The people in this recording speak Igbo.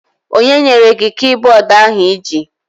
Onye nyere gị kibọọdụ ahụ iji?